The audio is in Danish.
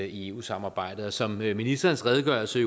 i eu samarbejdet som ministerens redegørelse